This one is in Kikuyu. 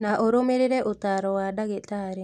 Na ũrũmĩrĩre ũtaaro wa ndagĩtarĩ